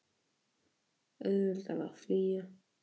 Var auðveldara að flýja?